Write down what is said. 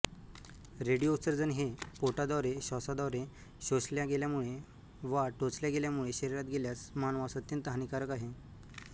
radio उत्सर्जन हे पोटाद्वारेश्वासाद्वारेशोषल्या गेल्यामुळे वा टोचल्या गेल्यामुळे शरीरात गेल्यास मानवास अत्यंत हानीकारक आहे